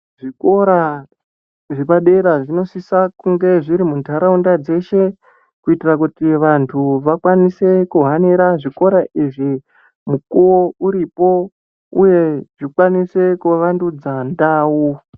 Zvikora zvepa dera zvino sisa kunge zviri mu ndaraunda dzeshe ku itira kuti vantu va kwanise ku hanira zvikora izvi mukuwo uripo uye zvi kwanise ku vandudza ndau.